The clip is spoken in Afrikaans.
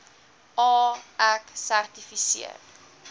a ek sertifiseer